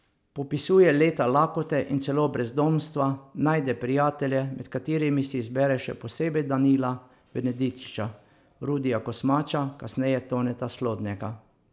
Popisuje leta lakote in celo brezdomstva, najde prijatelje, med katerimi si izbere še posebej Danila Benedičiča, Rudija Kosmača, kasneje Toneta Slodnjaka.